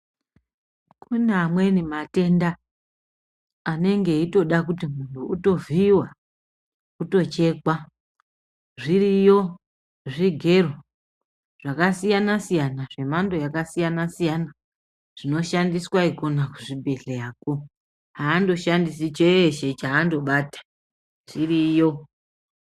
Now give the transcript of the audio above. Kune amweni matenda anenge eitoda kuti munhu utovhiyiwa-utochekwa. Zviriyo zvigero zvakasiyana siyana, zvemhando yakasiyana siyana zvinoshandiswa ikona kuzvibhedhleyako. Haandoshandisi chese chese chaandobata, chiriyo.